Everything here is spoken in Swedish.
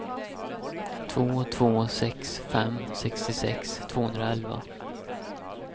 två två sex fem sextiosex tvåhundraelva